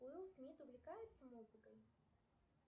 уилл смит увлекается музыкой